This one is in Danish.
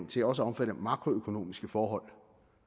til også at omfatte makroøkonomiske forhold